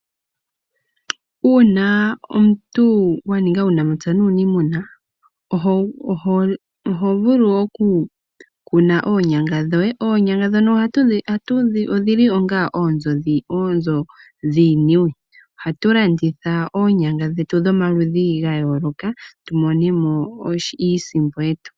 Uuna omuntu waninga uunamapya nuunimuna oho vulu okukuna oonyanga dhoye. Oonyanga ndhono odhili onga oonzo dhiiniwe. Aantu ohaya landitha oonyanga dhomaludhi ga yooloka yamonemo iisimpo yawo.